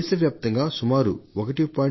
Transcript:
దేశవ్యాప్తంగా సుమారు 1